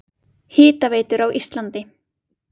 Hitaveitur á Íslandi